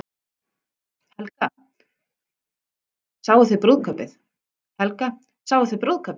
Helga: Sáuð þið brúðkaupið?